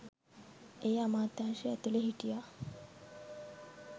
ඒ අමාත්‍යංශෙ ඇතුලේ හිටියා